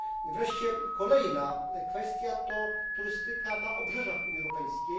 Wreszcie kolejna kwestia to turystyka na obrzeżach Unii Europejskiej.